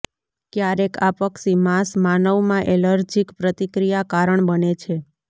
ક્યારેક આ પક્ષી માંસ માનવમાં એલર્જીક પ્રતિક્રિયા કારણ બને છે